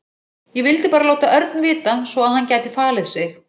Ég vildi bara láta Örn vita svo að hann gæti falið sig.